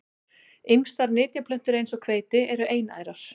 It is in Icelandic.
Ýmsar nytjaplöntur eins og hveiti eru einærar.